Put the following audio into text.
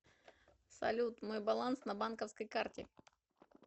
салют мой баланс на банковской карте